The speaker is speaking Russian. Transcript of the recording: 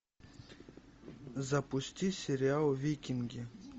запусти сериал викинги